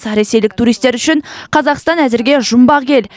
ресейлік туристер үшін қазақстан әзірге жұмбақ ел